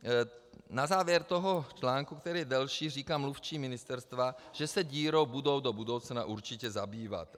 Na závěr toho článku, který je delší, říká mluvčí Ministerstva, že se dírou budou do budoucna určitě zabývat.